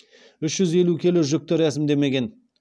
үш жүз келі жүкті рәсімдемеген